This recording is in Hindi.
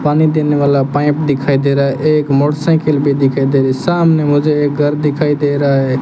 पानी देने वाला पाइप दिखाई दे रहा है एक मोटरसाइकिल भी दिखाई दे रही सामने मुझे एक घर दिखाई दे रहा है।